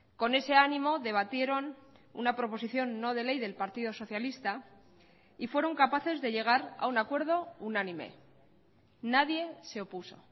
con ese ánimo debatieron una proposición no de ley del partido socialista y fueron capaces de llegar a un acuerdo unánime nadie se opuso